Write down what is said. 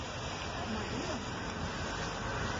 марина баева